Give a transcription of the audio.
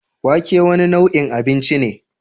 Wake wane nau'in abinci ne?